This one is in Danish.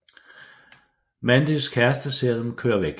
Mandys kæreste ser dem køre væk